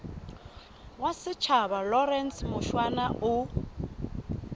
wa setjhaba lawrence mushwana o